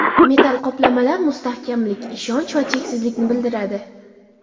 Metall qoplamalar mustahkamlik, ishonch va cheksizlikni bildiradi.